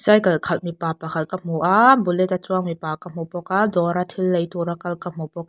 cycle khalh mipa pakhat ka hmu a bullet a chuang mipa ka hmu bawk a dawr a thil lei tura kal ka hmu bawk --